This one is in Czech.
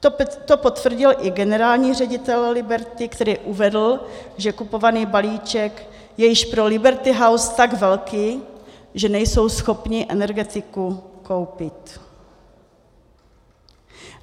To potvrdil i generální ředitel Liberty, který uvedl, že kupovaný balíček je již pro Liberty House tak velký, že nejsou schopni Energetiku koupit.